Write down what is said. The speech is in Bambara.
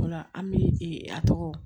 O la an bi a tɔgɔ